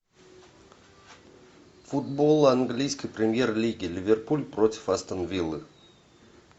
футбол английской премьер лиги ливерпуль против астон виллы